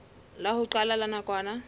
la ho qala la nakwana